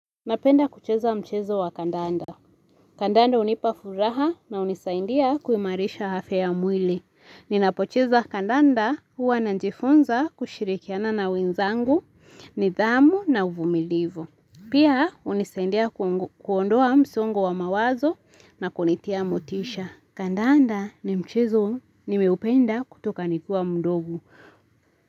Napenda kucheza mchezo wa kandanda. Kandanda hunipa furaha na hunisaindia kuimarisha afya ya mwili. Ninapocheza kandanda huwa najifunza kushirikiana na wenzangu, nidhamu na uvumilivu. Pia hunisaidia kuondoa msongo wa mawazo na kunitia motisha. Kandanda ni mchezo nimeupenda kutoka nikiwa mdogo.